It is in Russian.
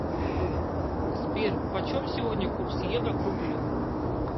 сбер почем сегодня курс евро к рублю